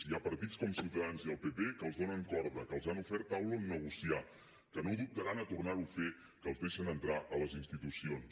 hi ha partits com ciutadans i el pp que els donen corda que els han ofert taula on negociar que no dubtaran a tornar ho a fer que els deixen entrar a les institucions